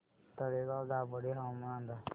तळेगाव दाभाडे हवामान अंदाज